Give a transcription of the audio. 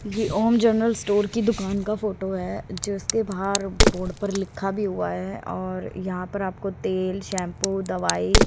ये Om general store की दुकान का फोटो है जीसके बाहर बोर्ड पर लिखा भी हुआ है और यहां पर आपको तेल शैंपू दवाई--